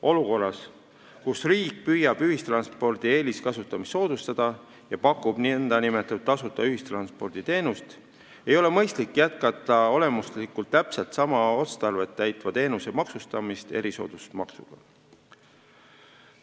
Olukorras, kus riik püüab ühistranspordi eeliskasutamist soodustada ja pakub nn tasuta ühistransporditeenust, ei ole mõistlik jätkata olemuslikult täpselt sama otstarvet täitva teenuse maksustamist erisoodustusmaksuga.